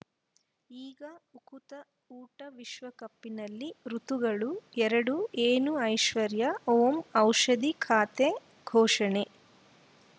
ಈಗ ಉಕುತ ಊಟ ವಿಶ್ವಕಪ್‌ನಲ್ಲಿ ಋತುಗಳು ಎರಡು ಏನು ಐಶ್ವರ್ಯಾ ಓಂ ಔಷಧಿ ಖಾತೆ ಘೋಷಣೆ